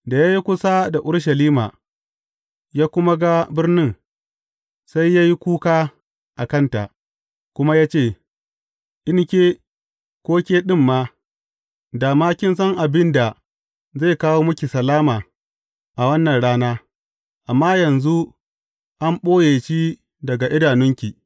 Da ya yi kusa da Urushalima, ya kuma ga birnin, sai ya yi kuka a kanta, kuma ya ce, In ke, ko ke ɗin ma, dā ma kin san abin da zai kawo miki salama a wannan rana, amma yanzu an ɓoye shi daga idanunki.